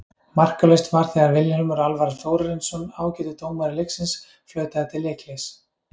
Markalaust var þegar að Vilhjálmur Alvar Þórarinsson, ágætur dómari leiksins flautaði til leikhlés.